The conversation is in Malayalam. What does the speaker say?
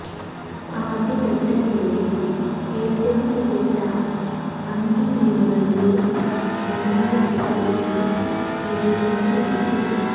ആദ്യഘട്ടത്തിലെ ഏറ്റവും മികച്ച അഞ്ചു ടീമുകൾക്ക് രണ്ടാം ഘട്ടത്തിലേക്ക് പ്രവേശനം ലഭിക്കും